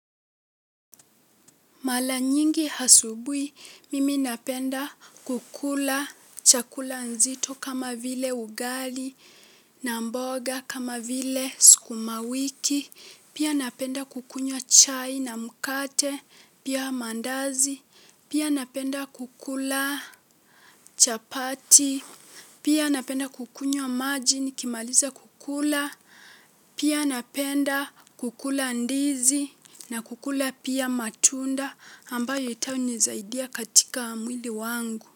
Mara nyingi asubuhi, mimi napenda kukula chakula nzito kama vile ugali na mboga kama vile sukuma wiki, pia napenda kukunywa chai na mkate, pia mandazi, pia napenda kukula chapati, pia napenda kukunywa maji nikimaliza kukula, pia napenda kukula ndizi na kukula pia matunda ambayo ita nizaidia katika mwili wangu.